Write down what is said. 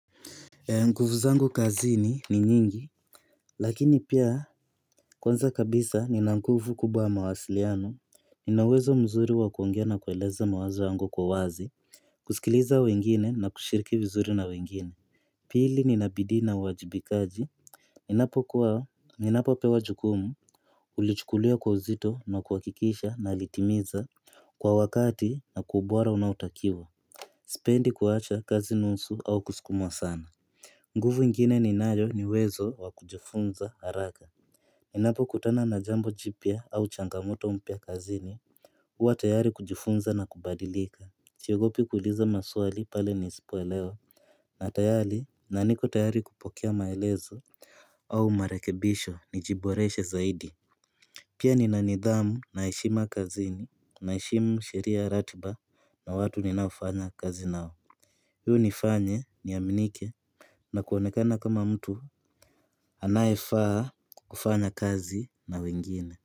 Nguvu zangu kazini ni nyingi Lakini pia Kwanza kabisa ni nanguvu kubwa mawasiliano Ninawezo mzuri wa kuongea na kuweleza mawazo yangu kwa uwazi kusikiliza wengine na kushiriki vizuri na wengine Pili nina bidii na uwajibikaji Ninapo kuwa ninapo pewa jukumu Ulichukulia kwa uzito na kuwakikisha na litimiza Kwa wakati na kuubwara unautakiwa Sependi kuwacha kazi nunsu au kusikumwa sana nguvu ingine ninayo niwezo wa kujifunza haraka Ninapo kutana na jambo jipia au changamoto mpya kazini huwa tayari kujifunza na kubadilika siogopi kuiliza maswali pale nisipoelewa na tayali naniko tayari kupokia maelezo au marekebisho ni jiboreshe zaidi Pia ni na nidhamu na heshima kazini na heshimu sheria ratiba na watu ninaofanya kazinao Hiu nifanye ni aminike na kuoanekana kama mtu anayefaa kufanya kazi na wengine.